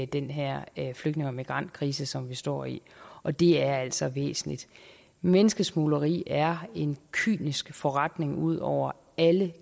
den her flygtninge og migrantkrise som vi står i og det er altså væsentligt menneskesmugleri er en kynisk forretning ud over alle